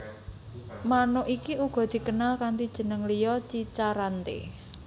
Manuk iki uga dikenal kanti jeneng liya cica rante